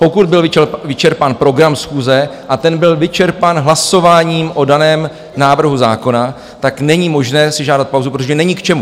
Pokud byl vyčerpán program schůze, a ten byl vyčerpán hlasováním o daném návrhu zákona, tak není možné si žádat pauzu, protože není k čemu.